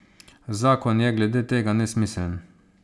Zakon je glede tega nesmiseln.